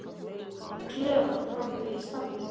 Ég var í klefa frammi í stafni.